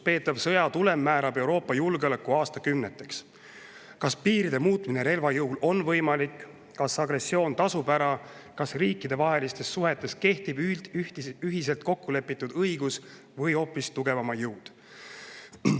Peetava sõja tulem määrab Euroopa julgeoleku aastakümneteks – kas piiride muutmine relva jõul on võimalik, kas agressioon tasub ära, kas riikidevahelistes suhetes kehtib ühiselt kokku lepitud õigus või hoopis tugevama jõud.